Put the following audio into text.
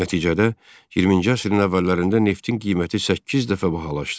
Nəticədə 20-ci əsrin əvvəllərində neftin qiyməti səkkiz dəfə bahalaşdı.